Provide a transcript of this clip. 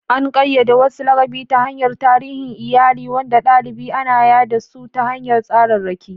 An ƙayyade wasu laƙabi ta hanyar tarihin iyali, wanda galibi ana yada su ta hanyar tsararraki.